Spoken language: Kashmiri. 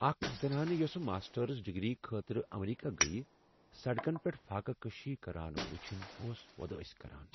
اکھ زنانہٕ یۄسہٕ ماسٹرس ڈگری خٲطرٕ امریکہ گیہ ، سڑکن پیٹھ فاقہ کشی كران وُچھِنۍ اوس وودٲسۍ كران ۔